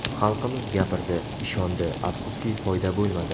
Xalqimiz gapirdi, ishondi, afsuski, foyda bo‘lmadi.